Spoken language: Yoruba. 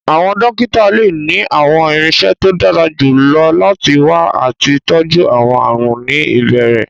Àwọn dókítà lè ní àwọn irinṣẹ́ tó dára jù lọ láti wá àti tọjú àwọn àrùn ní ìbẹ̀rẹ̀